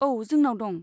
औ, जोंनाव दं।